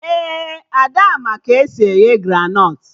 Ee, Ada ma ka esi eghe granọt